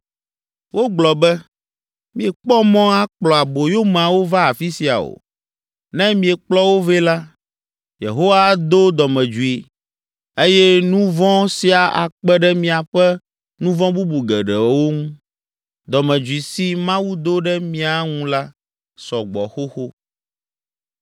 Wogblɔ be, “Miekpɔ mɔ akplɔ aboyomeawo va afi sia o. Ne miekplɔ wo vɛ la, Yehowa ado dɔmedzoe eye nu vɔ̃ sia akpe ɖe miaƒe nu vɔ̃ bubu geɖeawo ŋu. Dɔmedzoe si Mawu do ɖe mía ŋu la, sɔ gbɔ xoxo.”